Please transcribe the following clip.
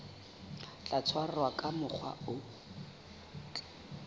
tla tshwarwa ka mokgwa o